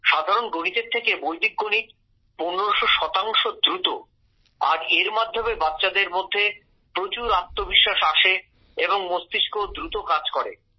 সাধারণ গণিত এর থেকে বৈদিক গণিত পনেরশো শতাংশ দ্রুত আর এর মাধ্যমে বাচ্চাদের মধ্যে প্রচুর আত্মবিশ্বাস আসে এবং মস্তিষ্কও দ্রুত কাজ করে